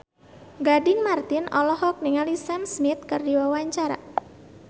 Gading Marten olohok ningali Sam Smith keur diwawancara